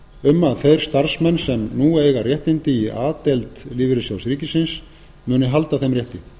um að þeir starfsmenn sem nú eiga réttindi í a deild l s r muni halda þeim rétti